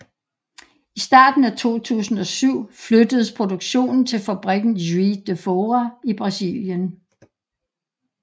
I starten af 2007 flyttedes produktionen til fabrikken Juiz de Fora i Brasilien